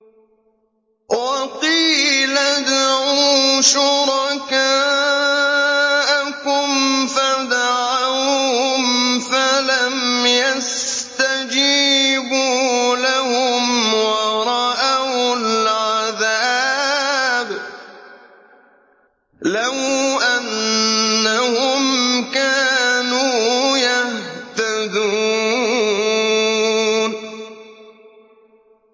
وَقِيلَ ادْعُوا شُرَكَاءَكُمْ فَدَعَوْهُمْ فَلَمْ يَسْتَجِيبُوا لَهُمْ وَرَأَوُا الْعَذَابَ ۚ لَوْ أَنَّهُمْ كَانُوا يَهْتَدُونَ